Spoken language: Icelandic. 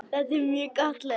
Þetta er mjög gott lið.